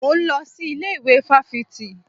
Mò ń lọ sí ilé ìwé fáfitì